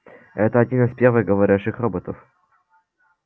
это один из первых говорящих роботов